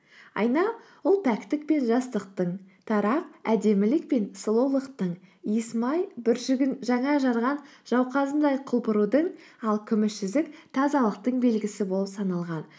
айна ол пәктік пен жастықтың тарақ әдемілік пен сұлулықтың иіс май бүршігін жаңа жарған жауқазындай құлпырудың ал күміс жүзік тазалықтың белгісі болып саналған